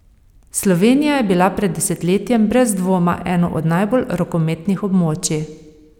Slovenija je bila pred desetletjem brez dvoma eno od najbolj rokometnih območij.